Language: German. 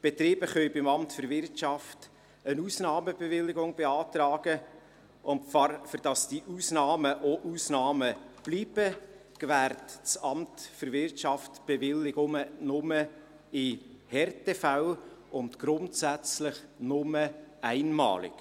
Betriebe können beim Amt für Wirtschaft (AWI) eine Ausnahmebewilligung beantragen, und damit diese Ausnahmen auch Ausnahmen bleiben, gewährt das AWI Bewilligungen nur in Härtefällen und grundsätzlich nur einmalig.